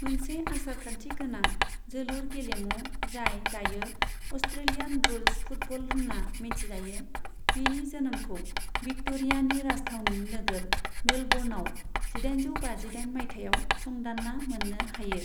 मोनसे आसारखान्थि गोनां जोलुर गेलेमु जाय दायो अस्ट्रेलियान रुल्स फुटबल होन्ना मिथिजायो बेनि जोनोमखौ विक्ट'रियानि राजथावनि नोगोर मेलबर्नाव जिदाइनजौ बाजिदाइन मायथाइयाव संदान्ना मोन्नो हायो।